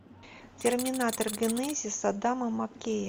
терминатор генезис адама маккея